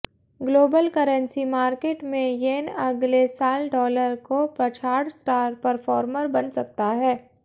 global currency market में yen अगले साल डॉलर को पछाड़ स्टार परफॉर्मर बन सकता है